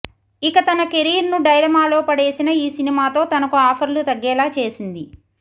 ఇక తన కెరీర్ను డైలమాలో పడేసిన ఈ సినిమాతో తనకు ఆఫర్లు తగ్గేలా చేసింది